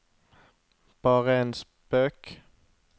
bare en spøk